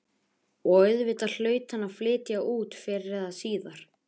Og auðvitað hlaut hann að flytja út fyrr eða síðar.